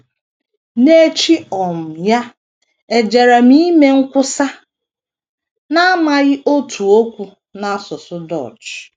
N’echi um ya, ejere m ime nkwusa n’amaghị otu okwu n’asụsụ Dutch.